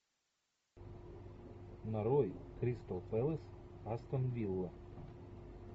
нарой кристал пэлас астон вилла